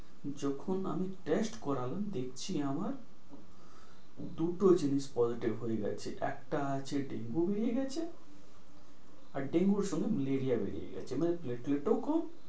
যখন আমি test করালাম দেখছি আমার দুটো জিনিস positive হয়ে গেছে। একটা আছে Dengue হয়ে গেছে। আর Dengue র সঙ্গে Malaria বেরিয়ে গেছে। মানে platelets খুব